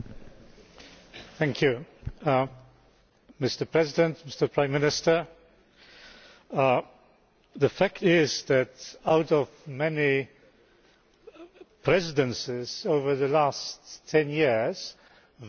Mr President, Mr Prime Minister, the fact is that out of the many Presidencies over the last ten years, very few remain in the memory